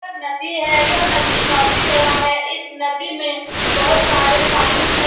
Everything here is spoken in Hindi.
यह नदी है यह नदी काफी बड़ा है इस नदी में बहुत सारे पानी है।